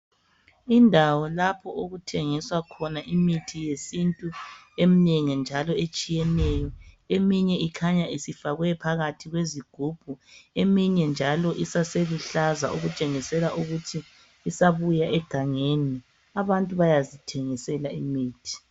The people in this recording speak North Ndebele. Indawo lapho okuthengiswa khona imithi yesintu eminengi njalo etshiyeneyo eminye ikhanya isifakwe phakathi kwezigubhu eminye njalo isaseluhlaza okutshengisela ukuthi isabuya egangeni, abantu bayazithengisela imithi.